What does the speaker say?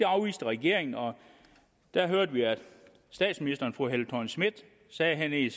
afviste regeringen og der hørte vi at statsministeren sagde i